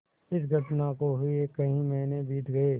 इस घटना को हुए कई महीने बीत गये